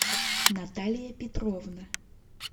наталья петровна